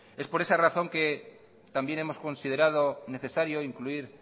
es por esa razón que también hemos considerado necesario incluir